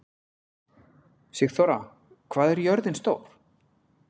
Sigþóra, hvað er jörðin stór?